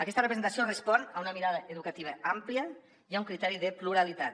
aquesta representació respon a una mirada educativa àmplia i a un criteri de pluralitat